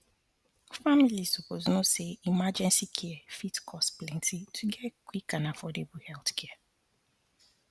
families suppose know say emergency care fit cost plenty to get quick and affordable healthcare